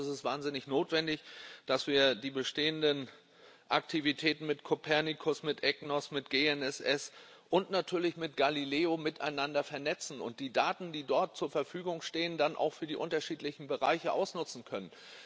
Ich glaube, es ist wahnsinnig notwendig, dass wir die bestehenden Aktivitäten mit Kopernikus. mit EGNOS, mit GNSS und natürlich mit Galileo miteinander vernetzen und die Daten, die dort zur Verfügung stehen, dann auch für die unterschiedlichen Bereiche ausnutzen können.